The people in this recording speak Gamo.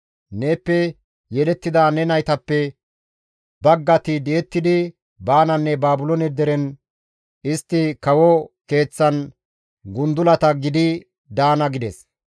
Neeppe yelettida ne naytappe baggati di7ettidi baananne Baabiloone deren istti kawo keeththan gundulata gidi daana» gides.